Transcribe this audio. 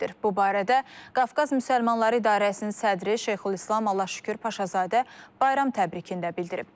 Bu barədə Qafqaz Müsəlmanları İdarəsinin sədri Şeyxülislam Allahşükür Paşazadə bayram təbrikində bildirib.